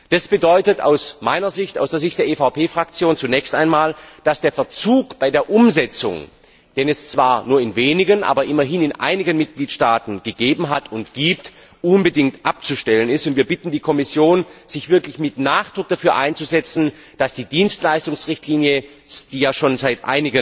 Das bedeutet aus meiner Sicht und aus der Sicht der EVP Fraktion zunächst einmal, dass der Verzug bei der Umsetzung, den es zwar nur in wenigen, aber immerhin in einigen Mitgliedstaaten gegeben hat und gibt, unbedingt abzustellen ist. Wir bitten die Kommission, sich wirklich mit Nachdruck dafür einzusetzen, dass die Dienstleistungsrichtlinie, die ja schon seit